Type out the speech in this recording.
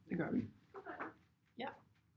Det gør vi